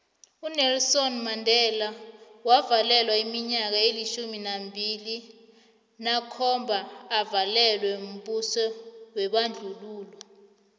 unelson mandela wavalelwa iminyaka elitjhumi amabili nakhomba avalelwa mbuso webandlululo